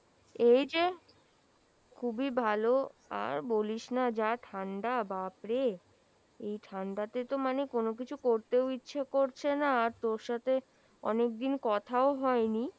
এইযে খুবই ভালো, আর বলিস না যা ঠান্ডা বাপরে এই ঠান্ডা তে তো মানে কোনো কিছু করতেও ইচ্ছে করছে না আর তোর সাথে অনেকদিন কথাও হয়নি,